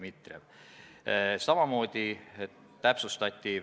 Sihtgruppide all mõtles ta raudtee-ettevõtjaid.